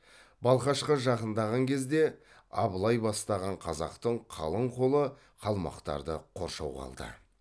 балқашқа жақындаған кезде абылай бастаған қазақтың қалың қолы қалмақтарды қоршауға алды